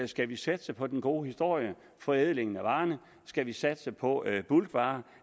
skal vi satse på den gode historie forædlingen af varerne skal vi satse på bulkvarer